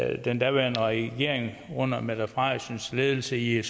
at den daværende regering under mette frederiksens ledelse i